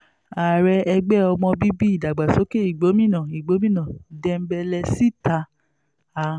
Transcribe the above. ààrẹ ẹgbẹ́ ọmọ bíbí ìdàgbàsókè ìgbòmínà igbómìnà dembelesítà a